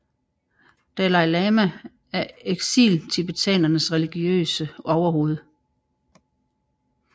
Dalai Lama er eksiltibetanernes religiøse overhoved